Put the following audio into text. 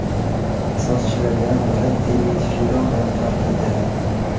asoschilaridan biri Devid Filo ham tark etadi.